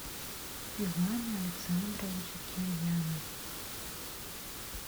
ивану александровичу кирьянову